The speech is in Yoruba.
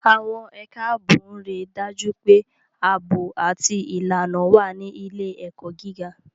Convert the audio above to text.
Àwọn ẹ̀ka ààbò ń rí i dájú pé ààbò àti ìlànà wà ní ilé-ẹ̀kọ́ gíga.